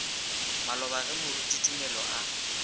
maloba ge moruti tumelo a